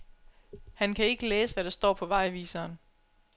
Han kan ikke læse, hvad der står på vejviseren.